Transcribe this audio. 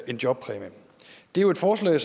en jobpræmie det er jo et forslag